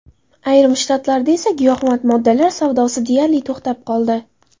Ayrim shtatlarda esa giyohvand moddalar savdosi deyarli to‘xtab qoldi.